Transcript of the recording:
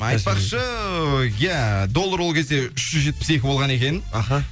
айтпақшы иә доллар ол кезде үш жүз жетпіс екі болған екен аха